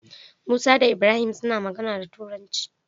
Musa da ibrahim suna magana da turanci